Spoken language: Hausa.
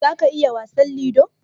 za ka iya wasan lido?